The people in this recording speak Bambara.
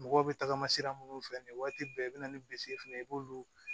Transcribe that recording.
Mɔgɔw bɛ tagama sira minnu fɛ nin waati bɛɛ i bɛ na ni fana ye i b'olu